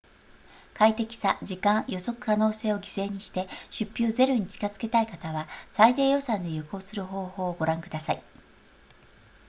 快適さ時間予測可能性を犠牲にして出費をゼロに近づけたい方は最低予算で旅行する方法をご覧ください